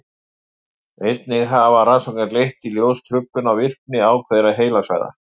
einnig hafa rannsóknir leitt í ljós truflun á virkni ákveðinna heilasvæða